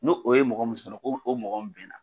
No o ye mɔgɔ mun sɔrɔ ko o mɔgɔ mun benna.